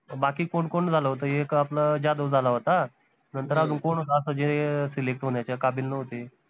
बाकी कोन कोन झालं होत एक आपलं जाधव झाला होता नंतर अजून कोन होत असं जे select होन्याच्या काबील नव्हते